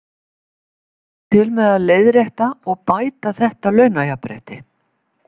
Kemur það til með að leiðrétta og bæta þetta launajafnrétti?